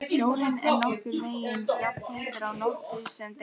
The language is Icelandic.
Sjórinn er nokkurn veginn jafnheitur á nóttu sem degi.